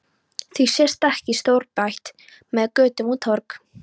Því sést ekki stórbær með götur og torg?